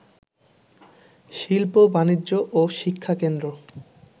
শিল্প, বাণিজ্য ও শিক্ষাকেন্দ্র